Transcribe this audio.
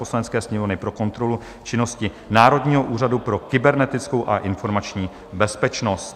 Poslanecké sněmovny pro kontrolu činnosti Národního úřadu pro kybernetickou a informační bezpečnost